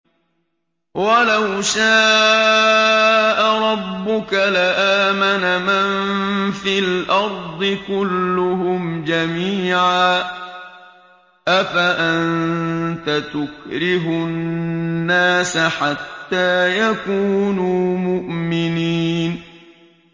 وَلَوْ شَاءَ رَبُّكَ لَآمَنَ مَن فِي الْأَرْضِ كُلُّهُمْ جَمِيعًا ۚ أَفَأَنتَ تُكْرِهُ النَّاسَ حَتَّىٰ يَكُونُوا مُؤْمِنِينَ